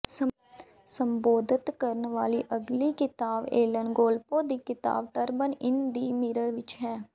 ਸੰਬੋਧਤ ਕਰਨ ਵਾਲੀ ਅਗਲੀ ਕਿਤਾਬ ਏਲਨ ਗੋਲਪੋਂ ਦੀ ਕਿਤਾਬ ਟਰਪਡ ਇਨ ਦਿ ਮੀਰਰ ਵਿਚ ਹੈ